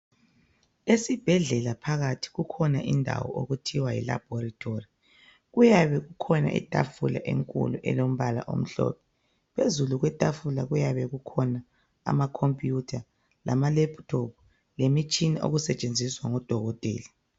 Esibhedlela phakathi kukhona indawo okuthiwa yi laboratory. Kuyabe kukhona itafula enkulu elombala omhlophe, phezulu kwetafula kuyabe kukhona amakhompiyutha lamalephuthophu lemitshina okusetshenziswa ngudokotela.